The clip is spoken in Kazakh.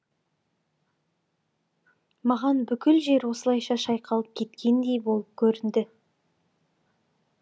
маған бүкіл жер осылайша шайқалып кеткендей болып көрінді